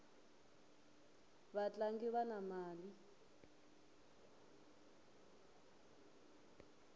vatlangi vana mali